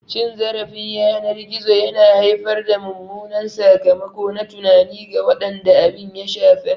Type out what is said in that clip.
Cin zarafin yanar gizo yana haifar da mummunan sakamako na tunani ga waɗanda abin ya shafa.